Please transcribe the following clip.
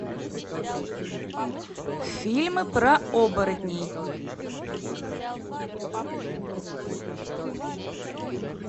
фильмы про оборотней